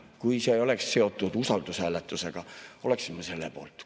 Kui see ei oleks seotud usaldushääletusega, oleksin ma selle poolt.